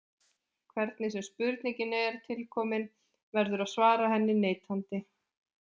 Hvernig sem spurningin er tilkomin verður að svara henni neitandi.